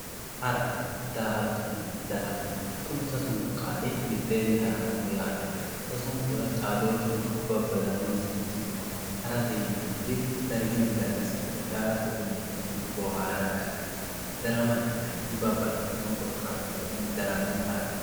Hara, daa'attonna darama kuni sasunku qaali mitteeni haranoho yaate, sasunkura xaadooshuno babadanonsarino no yaate, harate yineemoti darigini dariga sa'ate daa'attotte yineemotino booharate ha'naniwaati, daramate yinaniti banaxitino korikatubanni daramme harate